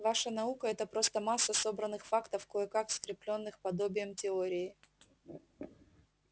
ваша наука-это просто масса собранных фактов кое-как скреплённых подобием теории